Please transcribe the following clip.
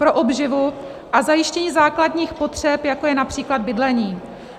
- pro obživu a zajištění základních potřeb, jako je například bydlení.